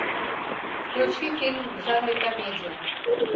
включи фильм в жанре комедия